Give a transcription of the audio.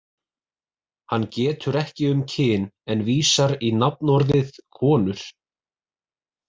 Hann getur ekki um kyn en vísar í nafnorðið konur.